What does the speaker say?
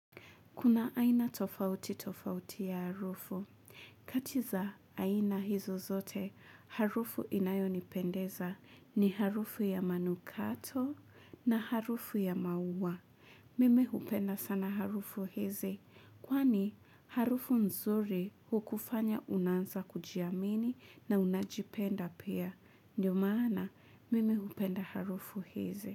Kuna aina tofauti tofauti ya harufu. Kati za aina hizo zote, harufu inayonipendeza ni harufu ya manukato na harufu ya maua. Mimi hupenda sana harufu hizi kwani harufu nzuri hukufanya unaanza kujiamini na unajipenda pia. Ndiyo maana mimi hupenda harufu hizi.